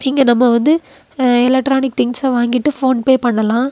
இங்க நம்ம வந்து எலக்ட்ரானிக்ஸ் திங்ஸ் வாங்கிட்டு போன்பெ பண்ணலாம்.